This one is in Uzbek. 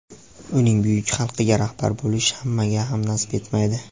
uning buyuk xalqiga rahbar bo‘lish hammaga ham nasib etmaydi.